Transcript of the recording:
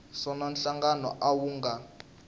swona nhlangano a wu nga